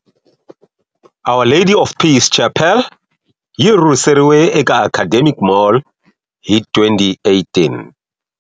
Our Lady of Peace Chapel yi rhurhiseriwe eka Academic Mall hi 2018.